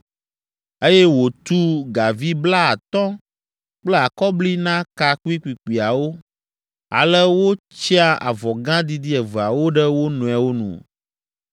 eye wòtu gavi blaatɔ̃ kple akɔbli na ka kpuikpuikpuiawo, ale wotsya avɔ gã didi eveawo ɖe wo nɔewo nu.